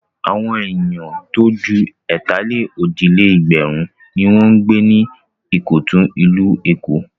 Àwọn ènìyàn tó ju ẹ̀tàlé-òjì-lé-ẹgbẹ̀run ni wọ́n ń gbé ní Ìkọ̀tún, ìlú Èkó.